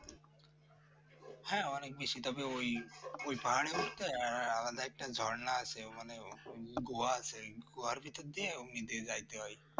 হ্যাঁ অনেক বেশি তবে ওই পাহাড়ের আলাদা একটা ঝর্ণা আছে মানে গুহা আছে ওই গুহার ভেতর দিয়ে যাইতে হয়